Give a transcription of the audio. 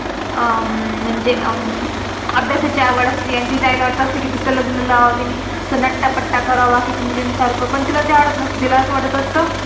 आह अं म्हणजे आभ्यासची आवड आसते. आणि तिच्या आई ला वाटत असतं कि तिचं लग्न लाव, तिनी नट्टा पट्टा करावा, बकिंच्या मुलिन सारखा. पण तिला ते आवडत नसतं, तिला असं वाटत असतं